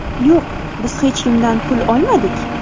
Yo‘q, biz hech kimdan pul olmadik.